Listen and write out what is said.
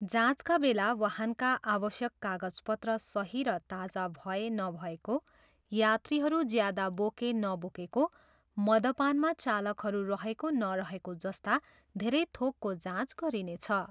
जाँचका बेला वाहनका आवश्यक कागजपत्र सही र ताजा भए नभएको, यात्रीहरू ज्यादा बोके नबोकेको, मदपानमा चालकहरू रहेको नरहेको जस्ता धेरै थोकको जाँच गरिनेछ।